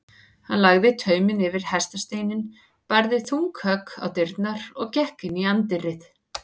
Hann lagði tauminn yfir hestasteininn, barði þung högg á dyrnar og gekk inn í anddyrið.